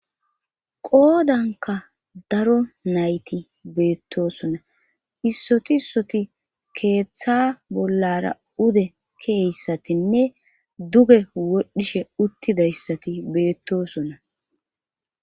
qoodanka daro nayti beettoosona issoti issoti keeththa bollara ude keeyssatinne duge wodhdhishe uttidayssati beettoosona